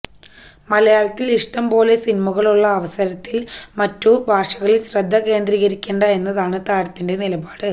മലയാളത്തില് ഇഷ്ടം പോലെ സിനിമകളുള്ള അവസരത്തില് മറ്റു ഭാഷകളില് ശ്രദ്ധ കേന്ദ്രീകരിക്കേണ്ട എന്നാണ് താരത്തിന്റെ നിലപാട്